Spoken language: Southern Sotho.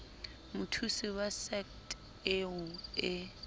mothusi wa sadc eo e